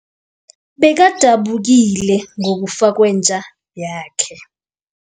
Bekadabukile ngokufa kwenja yakhe.